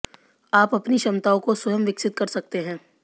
आप अपनी क्षमताओं को स्वयं विकसित कर सकते हैं